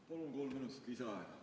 Palun kolm minutit lisaaega!